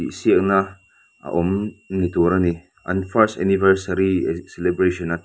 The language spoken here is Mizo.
tih siakna a awm ni tur ani an first anniversary celebration --